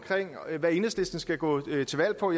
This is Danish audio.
hvad enhedslisten skal gå til valg på